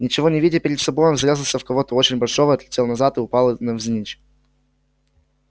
ничего не видя перед собой он врезался в кого-то очень большого отлетел назад и упал на навзничь